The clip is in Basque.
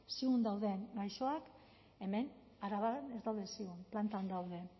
ziun dauden gaixoak hemen araban ez daude ziun plantan daude